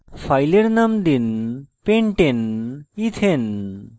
file name দিন pentaneethane লিখুন